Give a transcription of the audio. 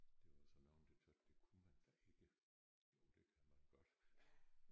Der var så nogen der tøt det kunne man da ikke. Jo det kan man godt